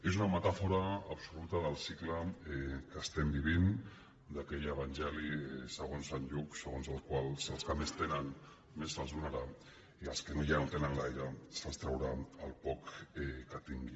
és una metàfora absoluta del cicle que estem vivint d’aquell evangeli segons sant lluc segons el qual als que més tenen més se’ls donarà i als que ja no tenen gaire se’ls traurà el poc que tinguin